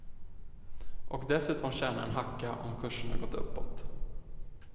Och dessutom tjäna en hacka om kurserna gått uppåt.